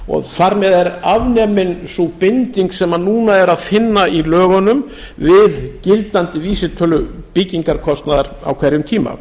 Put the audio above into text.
og þar með er afnumin sú binding sem núna er að finna í lögunum við gildandi vísitölu byggingarkostnaðar á hverjum tíma